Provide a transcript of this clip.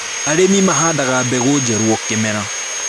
Arĩmi mahandaga mbegũ njerũ o kĩmera